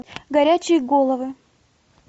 горячие головы